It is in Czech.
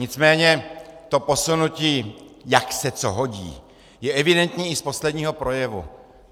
Nicméně to posunutí, jak se co hodí, je evidentní i z posledního projevu.